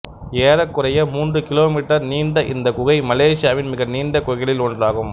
ஏறக்குறைய மூன்று கிலோமீட்டர் நீண்ட இந்தக் குகை மலேசியாவின் மிக நீண்ட குகைகளில் ஒன்றாகும்